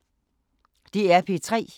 DR P3